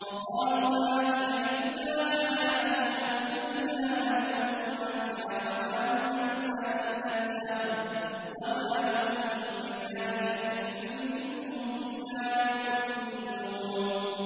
وَقَالُوا مَا هِيَ إِلَّا حَيَاتُنَا الدُّنْيَا نَمُوتُ وَنَحْيَا وَمَا يُهْلِكُنَا إِلَّا الدَّهْرُ ۚ وَمَا لَهُم بِذَٰلِكَ مِنْ عِلْمٍ ۖ إِنْ هُمْ إِلَّا يَظُنُّونَ